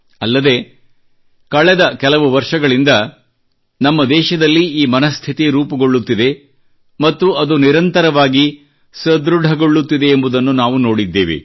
ಅಲ್ಲದೆ ಕಳೆದ ಕೆಲವು ವರ್ಷಗಳಿಂದ ನಮ್ಮ ದೇಶದಲ್ಲಿ ಈ ಮನಸ್ಥಿತಿ ರೂಪುಗೊಳ್ಳುತ್ತಿದೆ ಮತ್ತು ಅದು ನಿರಂತರವಾಗಿ ಸದೃಡಗೊಳ್ಳುತ್ತಿದೆ ಎಂಬುದನ್ನು ನಾವು ನೋಡಿದ್ದೇವೆ